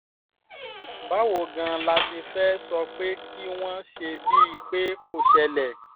báwo gan-an la ṣe fẹ́ẹ́ sọ pé kí wọ́n ṣe bíi pé kò ṣẹlẹ̀